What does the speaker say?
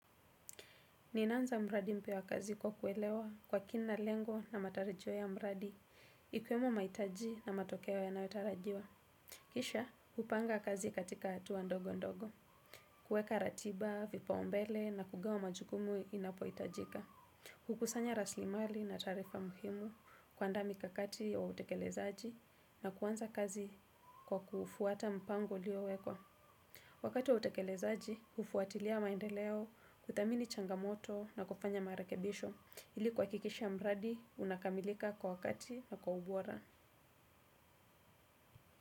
Ninaanza mradi mpya wa kazi kwa kuelewa kwa kina lengo na matarajio ya mradi, ikiwemo maitaji na matokeo yanayotarajiwa. Kisha, kupanga kazi katika atua ndogo ndogo. Kuweka ratiba, vipaombele na kugawa majukumu inapoitajika. Kukusanya raslimali na taarifa muhimu kuandaa mikakati ya utekelezaji na kuanza kazi kwa kuufuata mpango uliowekwa. Wakati wa utekelezaji, ufuatilia maendeleo, kudhamini changamoto na kufanya marekebisho ili kuhakikisha mradi unakamilika kwa wakati na kwa ubora.